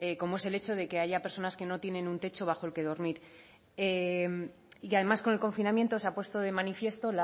como es el hecho de que haya personas que no tienen un techo bajo el que dormir y además con el confinamiento se ha puesto de manifiesto